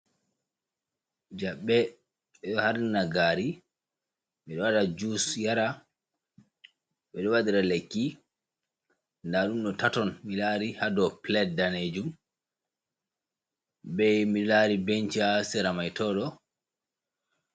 Jaɓɓe ɓiɗo har nira nagari ɓiɗo waɗa jus yara, ɓiɗo waɗira lekki, ndaɗum ɗo taton milari hadow palate danejum, bei milari benca ha seramai toɗo.